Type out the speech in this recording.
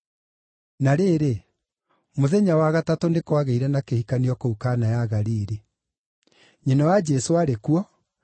Na rĩrĩ, mũthenya wa gatatũ nĩ kwagĩire na kihikanio kũu Kana ya Galili. Nyina wa Jesũ aarĩ kuo,